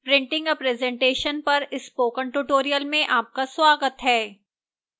printing a presentation पर spoken tutorial में आपका स्वागत है